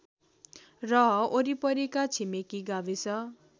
र वरिपरिका छिमेकी गाविस